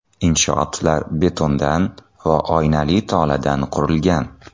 Inshootlar betondan va oynali toladan qurilgan.